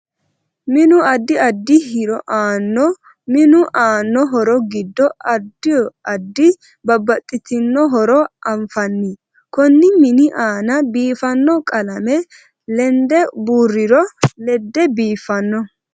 Minu addi addi hiro aanno minu aanno horo giddo addo addi babbaxitono horo anfaani konni mini aanna biifanno qalame lende buurirro lede biifanno